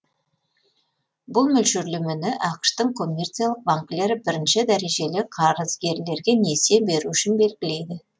бұл мөлшерлемені ақш тың коммерциялық банкілері бірінші дәрежелі қарызгерлерге несие беру үшін белгілейді